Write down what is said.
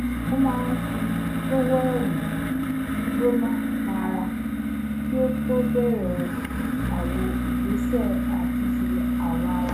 ó máa ń fi tọ́wẹ́ẹ̀nù gbígbóná ba ara kí ó tó bẹ̀rẹ̀ àwọn ìgbésẹ̀ àtúnṣe àwọ̀ ara